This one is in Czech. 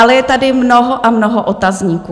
Ale je tady mnoho a mnoho otazníků.